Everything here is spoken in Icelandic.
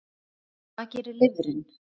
Hvað gerir lifrin?